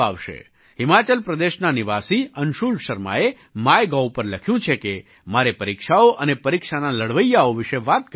હિમાચલ પ્રદેશના નિવાસી અંશુલ શર્માએ માયગોવ પર લખ્યું છે કે મારે પરીક્ષાઓ અને પરીક્ષાના લડવૈયાઓ વિશે વાત કરવી જોઈએ